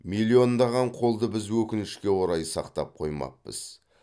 миллиондаған қолды біз өкінішке орай сақтап қоймаппыз